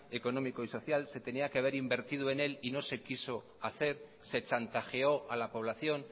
económico y social se tenía que haber invertido en él y no se quiso hacer se chantajeó a la población